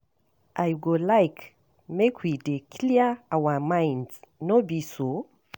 I go like make we dey clear our minds, no be so?